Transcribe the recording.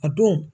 A don